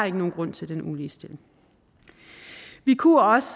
ikke nogen grund til den uligestilling vi kunne også